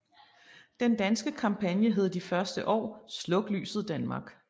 Den danske kampagne hed de første år Sluk lyset Danmark